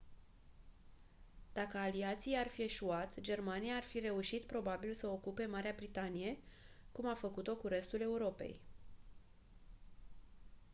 dacă aliații ar fi eșuat germania ar fi reușit probabil să ocupe marea britanie cum a făcut-o cu restul europei